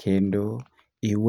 kendo